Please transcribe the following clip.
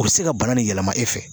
O bɛ se ka bana nin yɛlɛma e fɛ